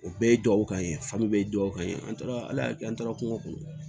O bɛɛ ye duwawu kan ye famori ye dugawu kan ye an taara ala kɛ an taara kungo kɔnɔ